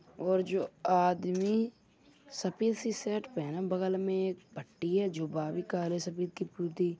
और जो आदमी सफ़ेद सी शर्ट पहने बगल में एक पट्टी है जो बावी काले सपेद की